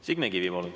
Signe Kivi, palun!